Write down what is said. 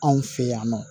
Anw fɛ yan nɔ